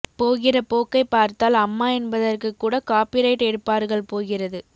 போகிற போக்கை பார்த்தால் அம்மா என்பதற்கு கூட காபி ரைட் எடுப்பார்கள் போகிறது